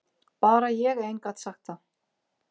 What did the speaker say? Bara ég ein gat sagt það.